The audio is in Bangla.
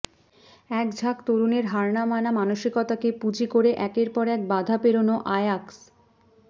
একঝাঁক তরুণের হার না মানা মানসিকতাকে পুঁজি করে একের পর এক বাধা পেরোনো আয়াক্স